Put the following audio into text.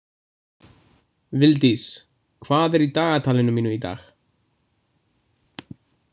Vildís, hvað er í dagatalinu mínu í dag?